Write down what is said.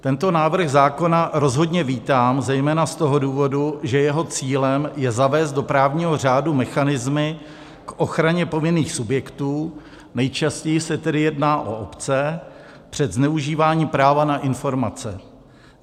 Tento návrh zákona rozhodně vítám zejména z toho důvodu, že jeho cílem je zavést do právního řádu mechanismy k ochraně povinných subjektů, nejčastěji se tedy jedná o obce, před zneužíváním práva na informace.